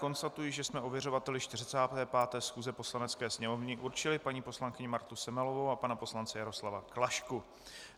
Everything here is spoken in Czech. Konstatuji, že jsme ověřovateli 45. schůze Poslanecké sněmovny určili paní poslankyni Martu Semelovou a pana poslance Jaroslava Klašku.